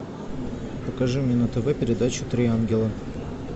покажи мне на тв передачу три ангела